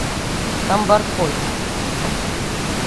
камбаркой